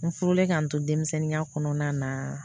N furulen k'an to denmisɛnninya kɔnɔna na